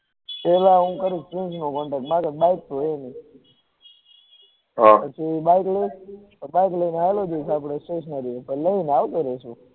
પેહલા એ હુ કરુ નો contact મારે હા પછી bike લઇ ને લઇ ને આવતો રહેશુ